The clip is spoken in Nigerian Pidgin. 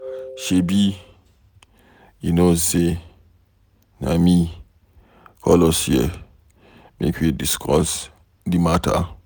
Shebi you know say na me call us here make we discuss the matter